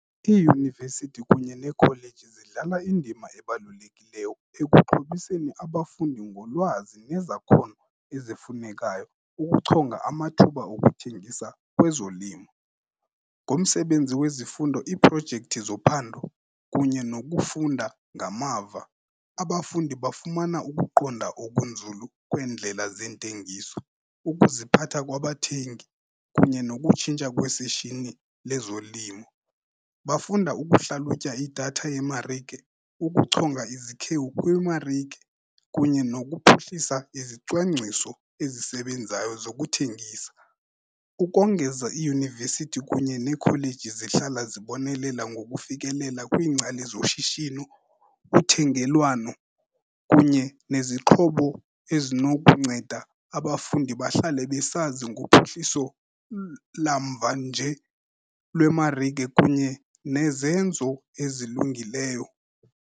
Iiyunivesithi kunye neekholeji zidlala indima ebalulekileyo ekuxhobiseni abafundi ngolwazi nezakhono ezifunekayo ukuchonga amathuba okuthengisa kwezolimo. Ngomsebenzi wezifundo, iiprojekthi zophando kunye nokufunda ngamava, abafundi bafumana ukuqonda okunzulu kweendlela zeentengiso, ukuziphatha kwabathengi kunye nokutshintsha kweshishini lezolimo. Bafunda ukuhlalutya idatha yemarike, ukuchonga izikhewu kwimarike kunye nokuphuhlisa izicwangciso ezisebenzayo zokuthengisa. Ukongeza, iiyunivesithi kunye neekholeji zihlala zibonelela ngokufikelela kwiingcali zoshishino, uthengelwano kunye nezixhobo ezinokunceda abafundi bahlale besazi ngophuhliso lamvanje lwemarike kunye nezenzo ezilungileyo.